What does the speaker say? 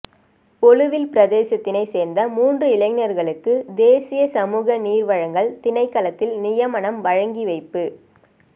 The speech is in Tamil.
ஒலுவில் பிரதேசத்தினை சேர்ந்த மூன்று இளைஞர்களுக்கு தேசிய சமூக நீர் வழங்கல் திணைக்களத்தில் நியமனம் வழங்கிவைப்பு